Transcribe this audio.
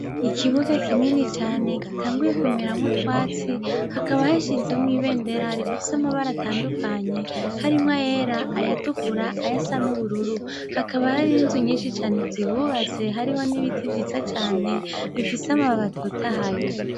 Ikibuga kinini cane gitanguye kumeramwo utwatsi, hakaba hashinzemwo ibendera rifise amabara atandukanye, harimwo ayera, ayatukura, ayasa n'ubururu. Hakaba hariho inzu nyinshi cane zihubatse, hariho n'ibiti vyiza cane, bifise amababi atotahaye.